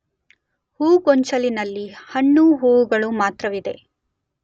ಹೂಗೊಂಚಲಿನಲ್ಲಿ ಹೆಣ್ಣು ಹೂಗಳು ಮಾತ್ರವಿದೆ